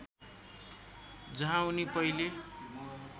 जहाँ उनी पहिले